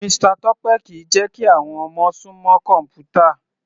Mr Tope kìí jẹ́ kí àwọn ọmọ sún mọ́ kọ̀mpútà.